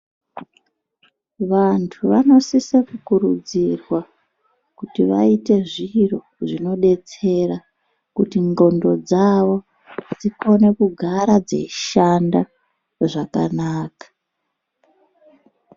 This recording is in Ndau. Vantu vanosise kukurudzirwa kuti vaite zviro zvinodetsera kuti nxondo dzavo dzikone kugara dzeishanda zvakanaka.